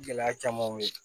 Gɛlɛya camanw ye